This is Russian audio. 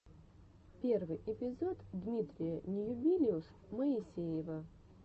первый эпизод дмитрия ньюбилиус моисеева